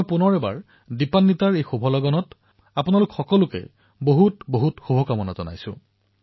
মই পুনৰবাৰ এই দিপাৱলীৰ পবিত্ৰক্ষণত আপোনালোকক অশেষ শুভকামনা যাচিছো